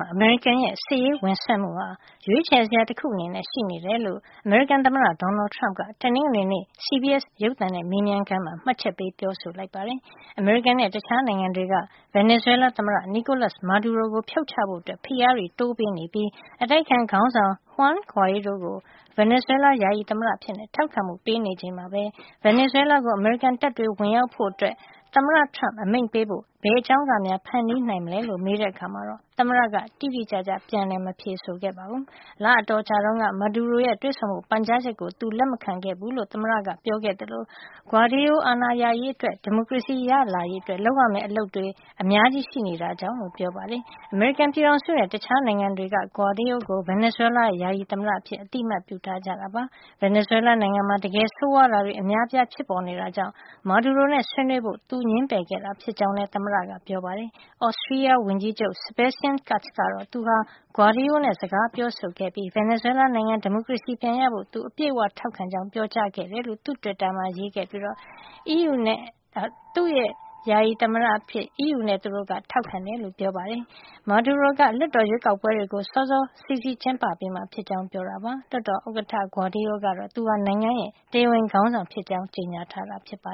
ှာ အမေရိကန်ရဲ့ စစ်ရေးဝင်စွက်မှုဟာ ရွေးချယ်စရာတခု အနေနဲ့ ရှိနေကြောင်း အမေရိကန်သမ္မတ Donald Trump က တနင်္ဂနွေနေ့ CBS ရုပ်သံနဲ့ မေးမြန်းခန်းမှာ မှတ်ချက်ပေးပြောဆိုခဲ့ပါတယ်။ အမေရိကန်နဲ့ တခြားနိုင်ငံတွေက ဗင်နီဇွဲလားသမ္မတ Nicolas Maduro ကို ဖြုတ်ချဖို့ ဖိအားတွေ တိုးပေးနေပြီး အတိုက်အခံခေါင်းဆောင် Juan Guaido ကို ဗင်နီဇွဲလား ယာယီသမ္မတအဖြစ် ထောက်ခံမှု ပေးနေချိန်မှာပဲ ဗင်နီဇွဲလားကို အမေရိကန်တပ်တွေ ဝင်ရောက်ဖို့ သမ္မတ Trump အမိန့်ပေးဖို့ ဘယ်အကြောင်းကများ ဖန်တီးနိုင်မလဲလို့ မေးတဲ့အခါမှာတော့ သမ္မတက တိတိကျကျ မဖြေဆိုခဲ့ပါဘူး။ လအတော်ကြာတုန်းက Maduro ရဲ့ တွေ့ဆုံဖို့ ပန်ကြားချက်ကို သူလက်မခံခဲ့ဘူးလို့ သမ္မတက ပြောခဲ့သလို Guaido အာဏာရရေးအတွက် ဒီမိုကရေစီရလာရေးအတွက် လုပ်ရမယ့် အလုပ်တွေ အများကြီး ရှိနေတာကြောင့်လို့ ပြောပါတယ်။ အမေရိကန်ပြည်ထောင်စုနဲ့ တခြား နိုင်ငံတွေက Guaido ကို ဗင်နီဇွဲလားရဲ့ ယာယီသမ္မတ အဖြစ် အသိမှတ် ပြုထားကြတာပါ။ ဗင်နီဇွဲလားနိုင်ငံမှာ တကယ် ဆိုးဝါးတာတွေ အများအပြား ဖြစ်ပေါ်နေတာကြောင့် Maduro နဲ့ ဆွေးနွေးဖို့ သူငြင်းပယ်ခဲ့တာ ဖြစ်ကြောင်းလည်း သမ္မတက ပြောပါတယ်။ Austria ဝန်ကြီးချုပ် Sebastian Kurz က သူဟာ Guaido နဲ့ စကားပြောဆိုခဲ့ပြီး ဗင်နီဇွဲလား နိုင်ငံ ဒီမိုကရေစီ ပြန်ရဖို့ သူအပြည့်အဝ ထောက်ခံကြောင်း ပြောကြားခဲ့တယ်လို့ သူ့တွစ်တာမှာ ရေးခဲ့ပြီး သူ့ရဲ့ ယာယီသမ္မတအဖြစ် သူတို့ ထောက်ခံကြောင်း ပြောပါတယ်။ Maduro က လွှတ်တော်ရွေးကောက်ပွဲတွေကို စောစောကျင်းပပေးမှာ ဖြစ်ကြောင်းပြောခဲ့ပါတယ်။ လွှတ်တော် ဥက္ကဌ Guaido ကတော့ သူဟာ နိုင်ငံရဲ့ တရားဝင်ခေါင်းဆောင် ဖြစ်ကြောင်း ကြေညာထားတာပါ